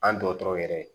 An dɔgɔtɔrɔ yɛrɛ